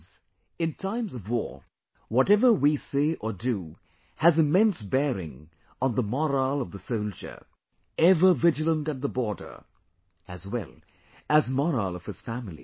Friends in times of war, whatever we say or do has immense bearing on the morale of the soldier, ever vigilant at the border, as well as the morale of his family